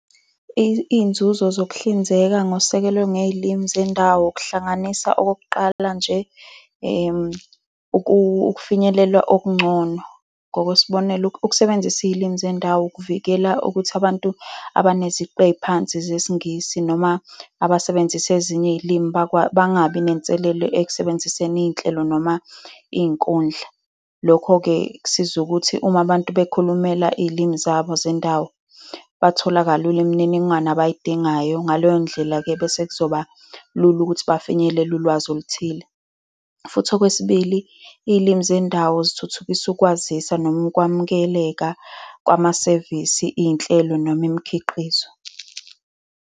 Iyinzuzo zokuhlinzeka ngosekelo ngezilimi zendawo kuhlanganisa okokuqala nje, ukufinyelela okungcono. Ngokwesibonelo, ukusebenzisa izilimi zendawo ukuvikela ukuthi abantu abaneziqu eziphansi zesiNgisi noma abasebenzisa ezinye iy'limi bangabi nenselelo ekusebenziseni iy'nhlelo noma iy'nkundla. Lokho-ke, kusiza ukuthi uma abantu bekhulumela iy'limi zabo zendawo, bathola kalula imininingwane abayidingayo. Ngaleyo ndlela-ke, bese kuzoba lula ukuthi bafinyelele ulwazi oluthile. Futhi okwesibili, iy'limi zendawo zithuthukisa ukwazisa noma ukuwamukeleka kwamasevisi, iy'nhlelo noma imikhiqizo.